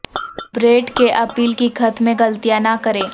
Brett کے appeal کی خط میں غلطیاں نہ بنائیں